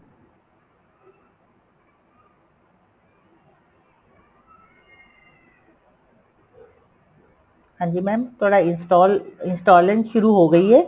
ਹਾਂਜੀ mam ਤੁਹਾਡਾ install installing ਸ਼ੁਰੂ ਹੋ ਗਈ ਏ